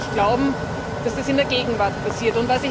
Ich konnte nicht glauben, dass das in der Gegenwart passiert.